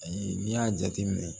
Ayi n'i y'a jateminɛ